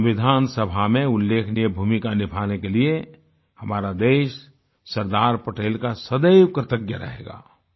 संविधान सभा में उल्लेखनीय भूमिका निभाने के लिए हमारा देश सरदार पटेल का सदैव कृतज्ञ रहेगा